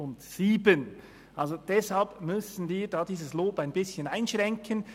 Deswegen müssen wir dieses Lob ein bisschen einschränken.